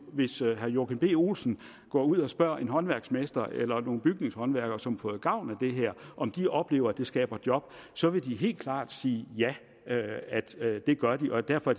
hvis herre joachim b olsen går ud og spørger en håndværksmester eller nogle bygningshåndværkere som har fået gavn af det her om de oplever at det skaber job så vil de helt klare sige at ja det gør det derfor